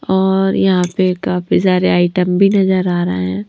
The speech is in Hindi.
और यहां पे काफी सारे आइटम भी नजर आ रहे हैं।